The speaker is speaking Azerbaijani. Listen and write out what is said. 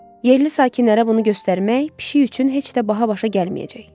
Yerli sakinlərə bunu göstərmək pişik üçün heç də baha başa gəlməyəcək.